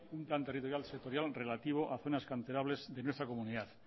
un plan territorial sectorial relativo a zonas canterables de nuestra comunidad